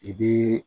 I bi